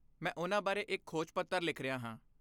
ਮੈਂ ਉਹਨਾਂ ਬਾਰੇ ਇੱਕ ਖੋਜ ਪੱਤਰ ਲਿਖ ਰਿਹਾ ਹਾਂ।